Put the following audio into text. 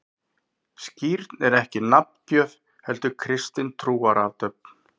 Skírn er ekki nafngjöf, heldur kristin trúarathöfn.